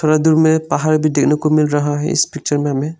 और दुर में एक पहाड़ भी देखने को मिल रहा है इस पिक्चर में हमें।